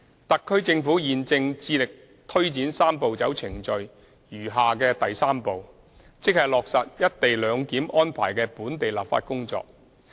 特區政府現正致力推展"三步走"程序餘下的第三步，即落實"一地兩檢"安排的本地立法工作。